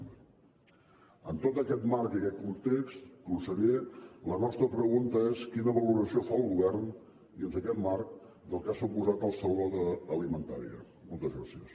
amb tot aquest marc i aquest context conseller la nostra pregunta és quina valoració fa el govern dins d’aquest marc del que ha suposat el saló d’alimentària moltes gràcies